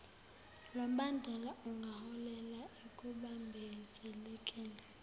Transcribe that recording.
lombandela ungaholela ekubambezelekeni